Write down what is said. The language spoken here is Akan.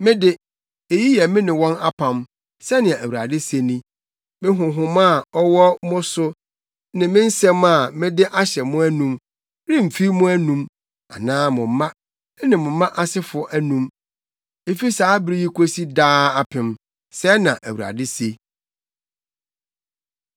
“Me de, eyi yɛ me ne wɔn apam,” sɛnea Awurade se ni. “Me Honhom a ɔwɔ mo so, ne me nsɛm a mede ahyɛ mo anom, remfi mo anom, anaa mo mma, ne mo mma asefo anom, efi saa bere yi kosi daa apem,” sɛɛ na Awurade se.